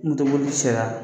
Moto boli sera